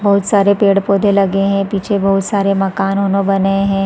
बहुत सारे पेड़-पौधे लगे है पीछे बहुत सारे माकन उनो बने है।